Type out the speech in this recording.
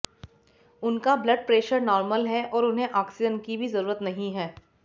उनका blood pressure normal है और उन्हें ऑक्सीजन की जरूरत भी नहीं है